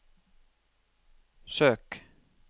søk